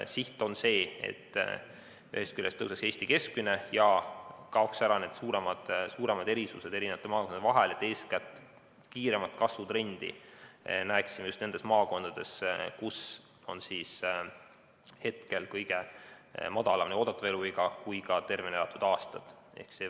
Siht on see, et ühest küljest tõuseks Eesti keskmine ja kaoksid ära suuremad erisused maakondade vahel, nii et eeskätt näeksime kiiremat kasvutrendi just nendes maakondades, kus on kõige lühem oodatav eluiga ja ka kõige väiksem tervena elatud aastate arv.